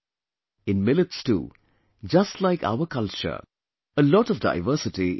In millets too, just like our culture, a lot of diversity is found